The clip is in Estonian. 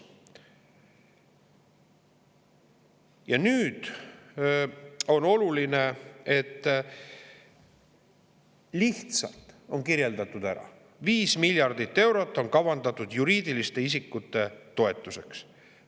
Ja nüüd on oluline, et lihtsalt on kirjeldatud ära: 5 miljardit eurot on kavandatud juriidiliste isikute toetuseks.